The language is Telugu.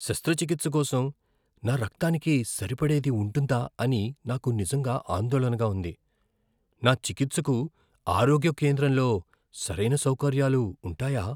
శస్త్రచికిత్స కోసం నా రక్తానికి సరిపడేది ఉంటుందా అని నాకు నిజంగా ఆందోళనగా ఉంది. నా చికిత్సకు ఆరోగ్య కేంద్రంలో సరైన సౌకర్యాలు ఉంటాయా?